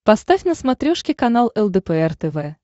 поставь на смотрешке канал лдпр тв